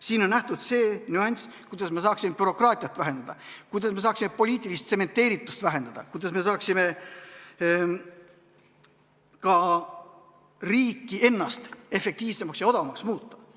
Siin on ette nähtud see nüanss, kuidas me saaksime bürokraatiat vähendada, kuidas me saaksime poliitilist tsementeeritust vähendada, kuidas me saaksime riiki efektiivsemaks ja odavamaks muuta.